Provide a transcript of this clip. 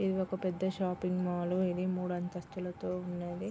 ఇది ఒక పెద్ద షాపింగ్ మాల్ ఇది మూడు అంతస్థులతో ఉన్నదీ.